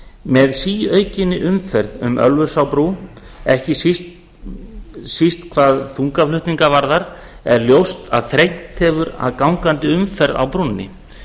með síaukinni umferð um ölfusárbrú ekki hvað síst þungaflutningum er ljóst að þrengt hefur verið að gangandi umferð á brúnni